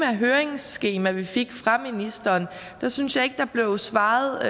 høringsskema vi fik fra ministeren synes jeg ikke der blev svaret